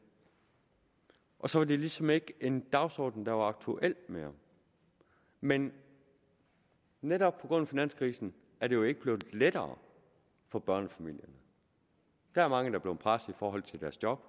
og så var det ligesom ikke en dagsorden der var aktuel mere men netop på grund af finanskrisen er det jo ikke blevet lettere for børnefamilierne der er mange der er blevet presset i forhold til deres job